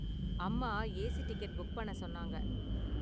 அம்மா AC ticket book பண்ண சொன்னாங்க.